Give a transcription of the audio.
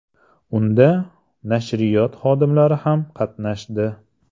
Unda nashriyot xodimlari ham qatnashdi.